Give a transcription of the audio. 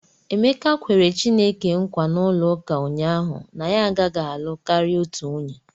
Emeka kwere Chineke nkwa n'ụlọụka ụnyahụ na ya agaghị alụ karịa otu nwunye.